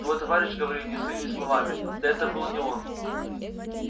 твой товарищ говорил не своими словами да это был не он